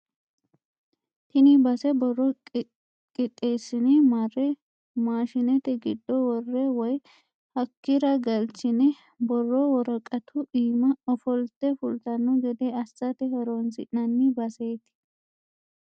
Tini base borro qixeessine mare maashinete giddo worre woyi hakkira galchine borro worqatu iima oflte fultano gede assate horonsi'nanni baseti.